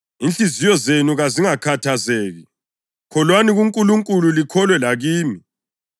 “Inhliziyo zenu kazingakhathazeki. Kholwani kuNkulunkulu; likholwe lakimi.